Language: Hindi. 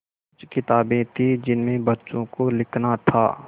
कुछ किताबें थीं जिनमें बच्चों को लिखना था